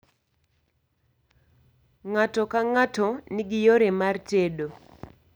Ng'ato ka ng'ato nigi yore mar tedo